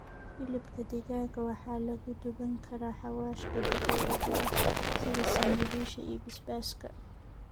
Hilibka digaaga waxaa lagu duban karaa xawaashka dabiiciga ah sida sinjibiisha iyo basbaaska.